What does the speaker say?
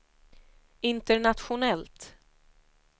internationellt